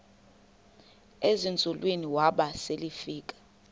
ezinzulwini waba selefika